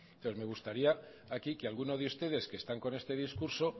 entonces me gustaría aquí que alguno de ustedes que están con este discurso